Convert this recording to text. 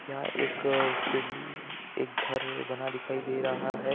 क्या एक अ बिल एक घर बना दिखाई दे रहा है।